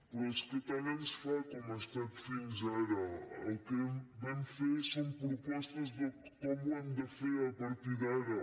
però és que tant ens fa com ha estat fins ara el que vam fer són propostes de com ho hem de fer a partir d’ara